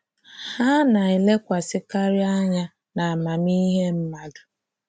Ha na-elekwasịkarị anya n’amamihe mmadụ.